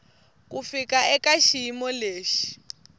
ku fika eka xiyimo lexi